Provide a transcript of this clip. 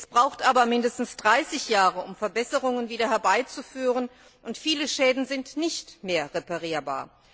Es braucht aber mindestens 30 Jahre, um wieder Verbesserungen herbeizuführen, und viele Schäden sind nicht mehr reparierbar.